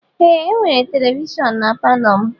Ee e nwere televishon n'palo m.